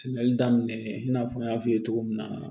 Sɛnɛli daminɛ i n'a fɔ n y'a f'i ye cogo min na